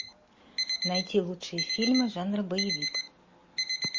найти лучшие фильмы жанра боевик